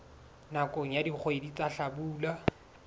nakong ya dikgwedi tsa hlabula